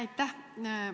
Aitäh!